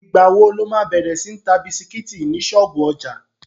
Ìgbà wo lo má bẹ̀rẹ̀ sí ń ta bisikítì ní ṣọ́ọ̀bú ọjà?